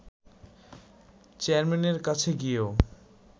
চেয়ারম্যানের কাছে গিয়েও